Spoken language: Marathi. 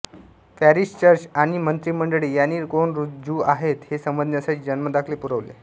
पॅरिश चर्च आणि मंत्रिमंडळे यांनी कोण ज्यू आहेत हे समजण्यासाठी जन्मदाखले पुरवले